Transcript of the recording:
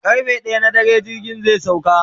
karfe ɗaya na dare jirgin zai sauka